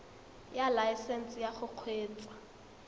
ya laesesnse ya go kgweetsa